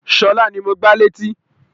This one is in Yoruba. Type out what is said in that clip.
Sọlá ni mo gbá létí